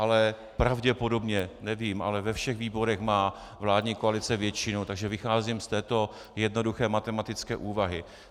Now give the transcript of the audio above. Ale pravděpodobně, nevím, ale ve všech výborech má vládní koalice většinu, takže vycházím z této jednoduché matematické úvahy.